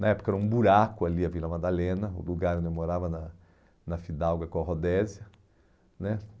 Na época era um buraco ali a Vila Madalena, o lugar onde eu morava na na Fidalga Corrodesia né